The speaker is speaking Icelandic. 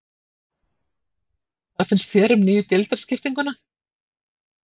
Hvað finnst þér um nýju deildarskiptinguna?